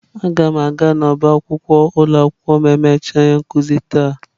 Aga m aga n'ọba akwụkwọ ụlọ akwụkwọ ma emechaa ihe nkuzi taa.